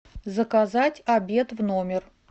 заказать обед в номер